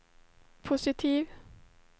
positiv